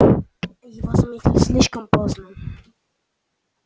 его заметили слишком поздно